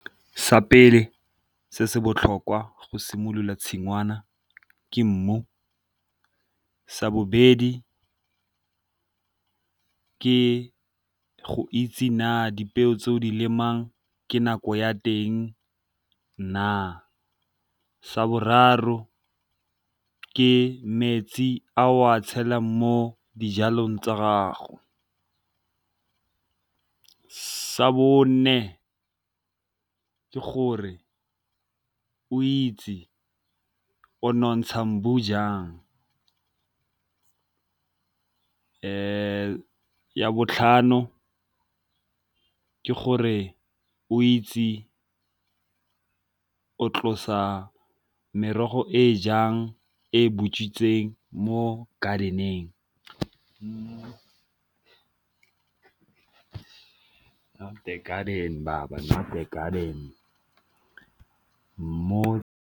Sa pele se se botlhokwa go simolola tshingwana ke mmu, sa bobedi ke go itse na dipeo tse o di lemang ke nako ya teng na, sa boraro ke metsi a o a tshelang mo dijalong tsa gago, sa bone ke gore o itse o nontsha mmu jang, ya botlhano ke gore o itse o tlosa merogo e jang e butswitseng mo garden-eng .